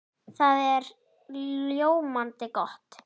Það er ljómandi gott!